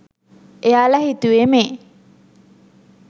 එයාල හිතුවෙ මේ